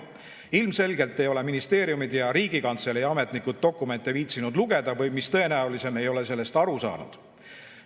Ilmselgelt ei ole ministeeriumid ja Riigikantselei ametnikud viitsinud dokumente lugeda või mis tõenäolisem, ei ole nendest aru saanud.